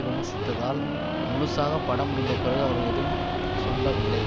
விமர்சித்ததால் முழுசாக படம் முடிந்த பிறகு அவர்கள் எதுவும் சொல்லவில்லை